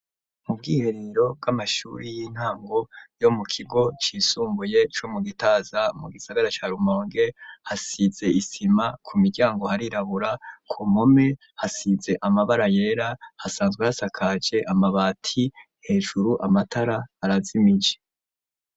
Mu bwiherero bw'amashuri y'intango yo mu kigo cisumbuye co mu gitaza mu gisagara cya rumonge hasize isima ku miryango harirabura ku mpome hasize amabara yera hasanzwe hasakaje amabati hejuru amatara arazimije.